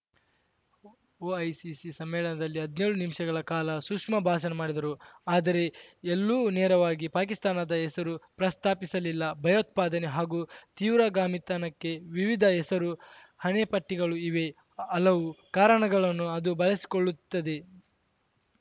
ಒಐಸಿಸಿ ಸಮ್ಮೇಳನದಲ್ಲಿ ಹದ್ನ್ಯೋಳು ನಿಮಿಷಗಳ ಕಾಲ ಸುಷ್ಮಾ ಭಾಷಣ ಮಾಡಿದರು ಆದರೆ ಎಲ್ಲೂ ನೇರವಾಗಿ ಪಾಕಿಸ್ತಾನದ ಹೆಸರು ಪ್ರಸ್ತಾಪಿಸಲಿಲ್ಲ ಭಯೋತ್ಪಾದನೆ ಹಾಗೂ ತೀವ್ರಗಾಮಿತನಕ್ಕೆ ವಿವಿಧ ಹೆಸರು ಹಣೆಪಟ್ಟಿಗಳು ಇವೆ ಹಲವು ಕಾರಣಗಳನ್ನು ಅದು ಬಳಸಿಕೊಳ್ಳುತ್ತದೆ